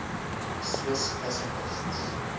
swiss pacifists